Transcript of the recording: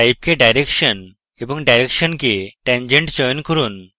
type কে direction এবং direction কে tangent চয়ন করুন